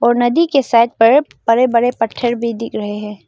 नदी के साइड पर बड़े बड़े पत्थर भी दिख रहे हैं।